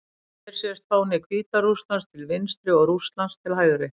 Hér sést fáni Hvíta-Rússlands til vinstri og Rússlands til hægri.